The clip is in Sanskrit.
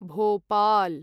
भोपाल्